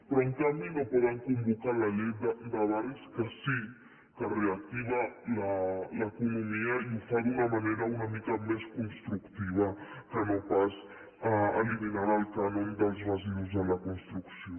però en canvi no poden convocar la llei de barris que sí que reactiva l’economia i ho fa d’una manera una mica més constructiva que no pas eliminant el cànon dels residus de la construcció